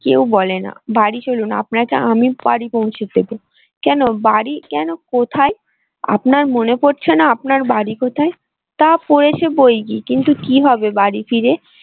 কেউ বেলনা বাড়ি চলুন আপনাকে আমি বাড়ি পৌঁছে দেব কেন বাড়ি কেন কোথায়? আপনার মনে পড়ছে না আপনার বাড়ি কোথায়? তা পড়ছে বই কি কিন্তু কি হবে বাড়ি ফিরে।